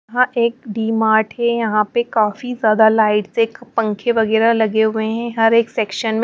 यहां एक डी मार्ट है यहां पे काफी ज्यादा लाइट्स एक पंखे वगैरह लगे हुए हैं हर एक सेक्शन में--